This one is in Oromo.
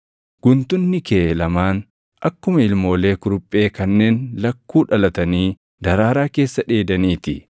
Guntunni kee lamaan akkuma ilmoolee kuruphee kanneen lakkuu dhalatanii daraaraa keessa dheedanii ti.